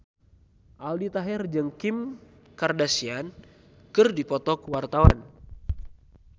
Aldi Taher jeung Kim Kardashian keur dipoto ku wartawan